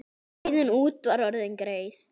Leiðin út var orðin greið.